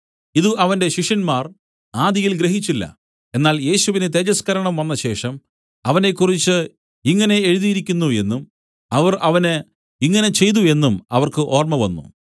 ഇതു അവന്റെ ശിഷ്യന്മാർ ആദിയിൽ ഗ്രഹിച്ചില്ല എന്നാൽ യേശുവിന് തേജസ്കരണം വന്നശേഷം അവനെക്കുറിച്ച് ഇങ്ങനെ എഴുതിയിരിക്കുന്നു എന്നും അവർ അവന് ഇങ്ങനെ ചെയ്തു എന്നും അവർക്ക് ഓർമ്മ വന്നു